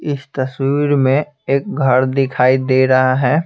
इस तस्वीर में एक घर दिखाई दे रहा है।